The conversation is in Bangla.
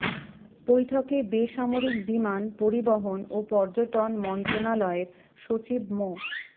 বৈঠকে বেসামরিক বিমান পরিবহন ও পর্যটন মন্ত্রণালয়ের সচিব মো